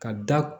Ka da